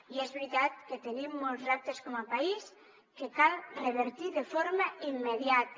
i és veritat que tenim molts reptes com a país que cal revertir de forma immediata